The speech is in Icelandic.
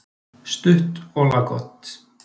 Stutt og laggott.